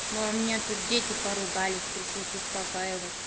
ну у меня тут дети поругались пришлось успокаивать